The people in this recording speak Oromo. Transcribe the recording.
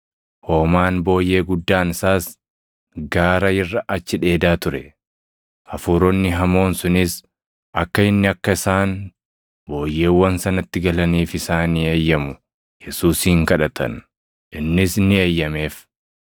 Hoomaan booyyee guddaan isaas gaara irra achi dheedaa ture. Hafuuronni hamoon sunis akka inni akka isaan booyyeewwan sanatti galaniif isaanii eeyyamu Yesuusin kadhatan; innis ni eeyyameef.